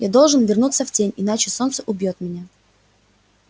я должен вернуться в тень иначе солнце убьёт меня